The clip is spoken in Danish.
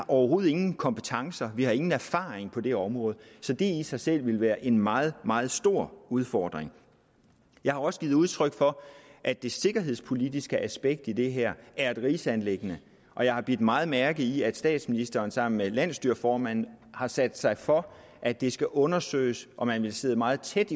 overhovedet ingen kompetencer vi har ingen erfaring på det område så det i sig selv vil være en meget meget stor udfordring jeg har også givet udtryk for at det sikkerhedspolitiske aspekt i det her er et rigsanliggende og jeg har bidt meget mærke i at statsministeren sammen med landsstyreformanden har sat sig for at det skal undersøges og man vil sidde meget tæt